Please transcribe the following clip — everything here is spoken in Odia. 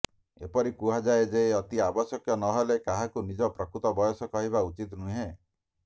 ଏପରି କୁହାଯାଏ ଯେ ଅତି ଆବଶ୍ୟକ ନହେଲେ କାହାକୁ ନିଜ ପ୍ରକୃତ ବୟସ କହିବା ଉଚିତ ନୁହେଁ